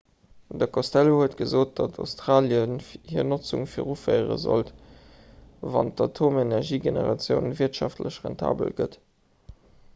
de costello huet gesot datt australie hir notzung viruféiere sollt wann d'atomenergiegeneratioun wirtschaftlech rentabel gëtt